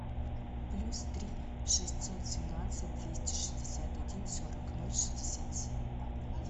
плюс три шестьсот семнадцать двести шестьдесят один сорок ноль шестьдесят семь